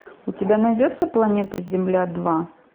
у тебя найдется планета земля два